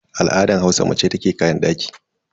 A al'adar Hausa mace ita ke kayan daki.